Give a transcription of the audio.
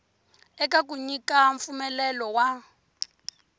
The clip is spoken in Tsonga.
eka ku nyika mpfumelelo wa